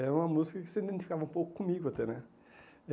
É uma música que se identificava um pouco comigo até, né? Eh